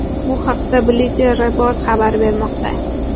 Bu haqda Bleacher Report xabar bermoqda .